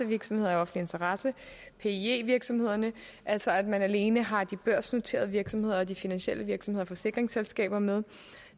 virksomheder af offentlig interesse altså at man alene har de børsnoterede virksomheder de finansielle virksomheder og forsikringsselskaber med